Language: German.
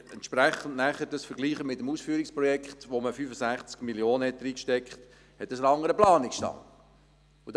Wenn Sie es mit dem Ausführungsprojekt vergleichen, in welches man 65 Mio. Franken gesteckt hat, sehen Sie, dass dieses einen anderen Planungsstand hat.